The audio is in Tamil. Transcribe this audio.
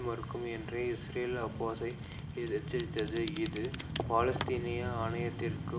மறுக்கும் என்ற இஸ்ரேல் அப்பாஸை எச்சரித்தது இது பாலஸ்தீனிய ஆணையத்திற்கு